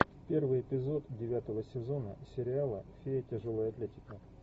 первый эпизод девятого сезона сериала фея тяжелой атлетики